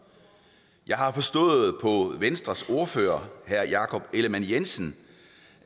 jeg har forstået på venstres ordfører herre jakob ellemann jensen